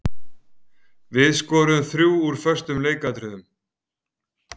Við skoruðum þrjú úr föstum leikatriðum.